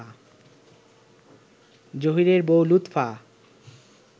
জহীরের বউ লুৎফা